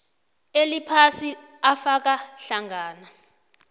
eliphasi afaka hlangana